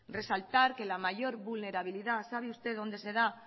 resaltar que la mayor vulnerabilidad sabe usted dónde se da